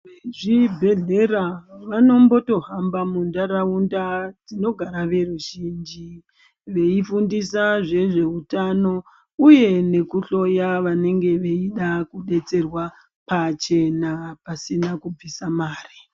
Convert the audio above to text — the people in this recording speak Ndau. Vezvibhedhlera vanombotohamba mundaraunda dzinogara veruzhinji veifundisa nezveutano uye nekuhloya vanenge veida kudetserwa pachena pasina kubvisa mari.